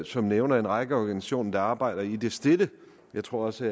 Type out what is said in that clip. som nævnte en række organisationer der arbejder i det stille og jeg tror også